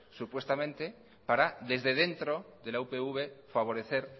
supuestamente para desde dentro de la upv favorecer